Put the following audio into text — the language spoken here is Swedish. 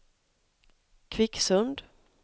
Kvicksund